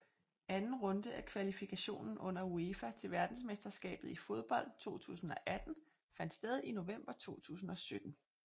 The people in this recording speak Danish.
Anden runde af kvalifikationen under UEFA til verdensmesterskabet i fodbold 2018 fandt sted i november 2017